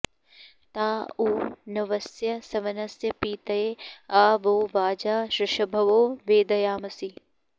ताँ ऊ न्वस्य सवनस्य पीतय आ वो वाजा ऋभवो वेदयामसि